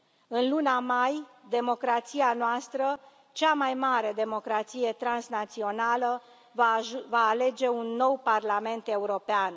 În luna mai, democrația noastră, cea mai mare democrație transnațională, va alege un nou Parlament European.